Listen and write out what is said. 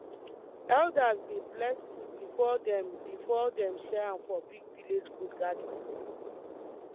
elders dey bless food before dem before dem share am for big village food gathering